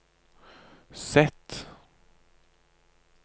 Z